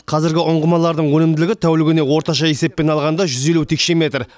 қазіргі ұңғымалардың өнімділігі тәулігіне орташа есеппен алғанда жүз елу текше метр